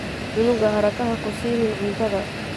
Cunuga haraka hakusiinin cuntadha.